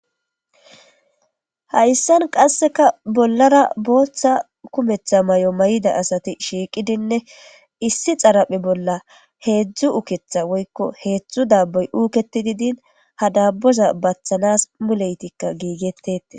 Hayisan qaseka bolara botha kumeta mayo mayida asati shiiqidinne issi xerephe bola heedzdzu uketa woyikko heedzdzu daboy uketidi din ha doboza batanas muleyitika gigetieytes.